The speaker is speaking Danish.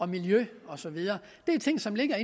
miljø og så videre det er ting som ligger